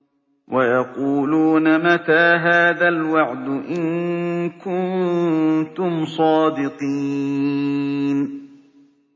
وَيَقُولُونَ مَتَىٰ هَٰذَا الْوَعْدُ إِن كُنتُمْ صَادِقِينَ